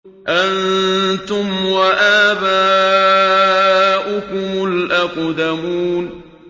أَنتُمْ وَآبَاؤُكُمُ الْأَقْدَمُونَ